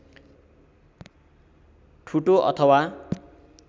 ठुटो अथवा